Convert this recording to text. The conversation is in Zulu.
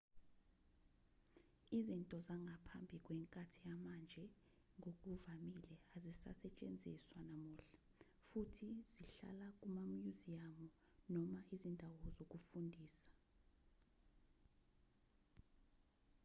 izinto zangaphambi kwenkathi yamanje ngokuvamile azisasetshenziswa namuhla futhi zihlala kumamyuziyamu noma izindawo zokufundisa